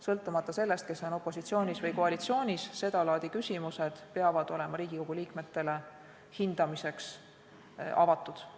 Sõltumata sellest, kes on opositsioonis või koalitsioonis, seda laadi küsimused peavad olema Riigikogu liikmetele hindamiseks avatud.